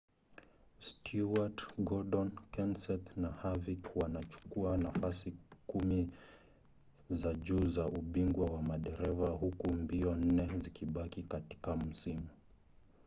stewart gordon kenseth na harvick wanachukua nafasi kumi za juu za ubingwa wa madereva huku mbio nne zikibaki katika msimu